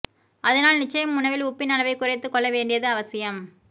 அதனால் நிச்சயம் உணவில் உப்பின் அளவைக் குறைத்துக் கொள்ள வேண்டியது அவசியம்